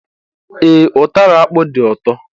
Ee, utara akpu do ụtọ